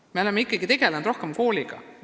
Me oleme ikkagi rohkem kooliga tegelenud.